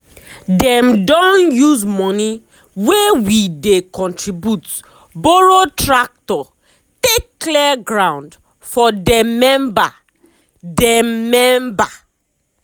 dem don use money wey we dey contribute borrow tractor take clear ground for dem member. dem member.